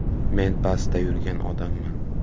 Men pastda yurgan odamman.